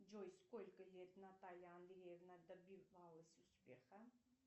джой сколько лет наталья андреевна добивалась успеха